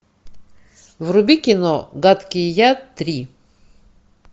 вруби кино гадкий я три